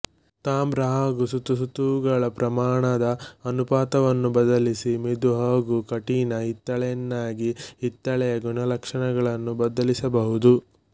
ತಾಮ್ರ ಹಾಗೂ ಸತುಸತುವುಗಳ ಪ್ರಮಾಣದ ಅನುಪಾತವನ್ನು ಬದಲಿಸಿ ಮೆದು ಹಾಗೂ ಕಠಿಣ ಹಿತ್ತಾಳೆಯನ್ನಾಗಿ ಹಿತ್ತಾಳೆಯ ಗುಣಲಕ್ಷಣಗಳನ್ನು ಬದಲಿಸಬಹುದು